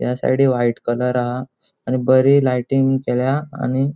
या साइडिक white colour आहा आणि बरी लाइटिंग केल्या आणि --